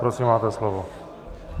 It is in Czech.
Prosím, máte slovo.